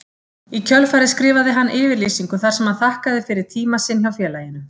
Í kjölfarið skrifaði hann yfirlýsingu þar sem hann þakkaði fyrir tíma sinn hjá félaginu.